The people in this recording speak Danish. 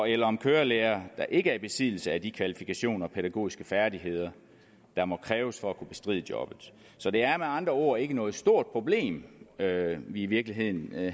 eller om kørelærere der ikke er i besiddelse af de kvalifikationer og pædagogiske færdigheder der må kræves for at kunne bestride jobbet så det er med andre ord ikke noget stort problem vi i virkeligheden